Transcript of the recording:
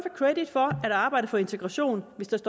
credit for at arbejde for integration hvis